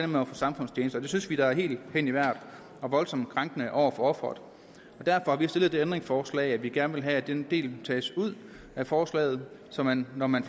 med at få samfundstjeneste og det synes vi da er helt hen i vejret og voldsomt krænkende over for offeret derfor har vi stillet det ændringsforslag at vi gerne vil have at den del tages ud af forslaget så man når man